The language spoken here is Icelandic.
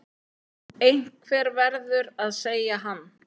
Einhver verður að segja hann.